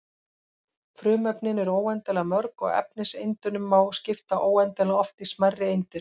Frumefnin eru óendanlega mörg og efniseindunum má skipta óendanlega oft í smærri eindir.